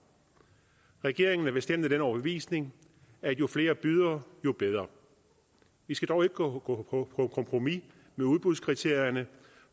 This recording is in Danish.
regeringen er bestemt af den overbevisning at jo flere bydere jo bedre vi skal dog ikke gå på kompromis med udbudskriterierne